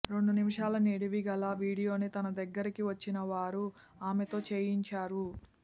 రెండు నిమిషాల నిడివి గల వీడియోని తన దగ్గరకి వచ్చిన వారు ఆమెతో చేయించారు